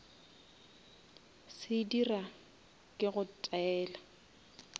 se dira ke go taela